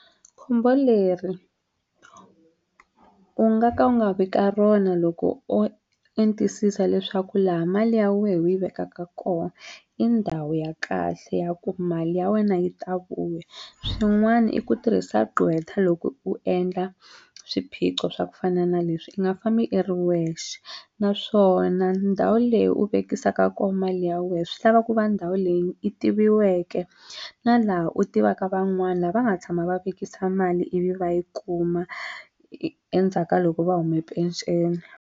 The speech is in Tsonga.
Khombo leri u nga ka u nga vi ka rona loko o entisisa leswaku laha mali ya wehe u yi vekaka kona i ndhawu ya kahle ya ku mali ya wena yi ta vuya swin'wani i ku tirhisa gqwetha loko u endla swiphiqo swa ku fana na leswi u nga fambi i ri wexe naswona ndhawu leyi u vekisa ko mali ya we swi lava ku va ndhawu leyi i tiviweke na laha u tivaka van'wani lava va nga tshama va vekisa mali ivi va yi kuma endzhaka ka loko va huma penceni.